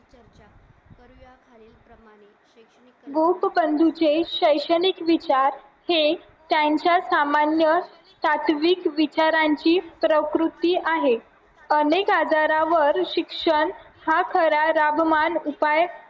गोपपंडीचे शैक्षणिक विचार हे त्यांच्या सामान्य सातविक विचारांची प्रकृती आहे अनेक आजारावर शिक्षण हा खरा उपाय